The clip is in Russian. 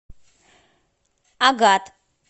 агат